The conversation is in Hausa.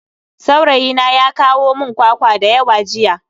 Saurayina ya kawo mun kwakwa dayawa jiya.